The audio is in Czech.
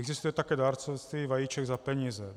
Existuje také dárcovství vajíček za peníze.